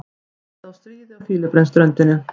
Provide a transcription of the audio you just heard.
Hætta á stríði á Fílabeinsströndinni